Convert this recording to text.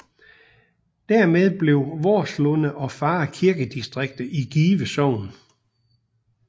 Dermed blev Vorslunde og Farre kirkedistrikter i Give Sogn